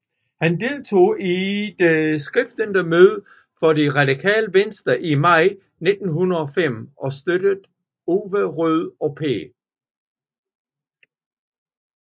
Han deltog i det stiftende møde for Det radikale Venstre i maj 1905 og støttede Ove Rode og P